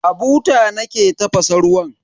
A buta nake tafasa ruwan.